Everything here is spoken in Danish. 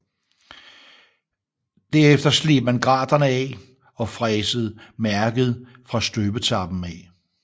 Derefter sleb man graterne af og fræsede mærket fra støbetappen af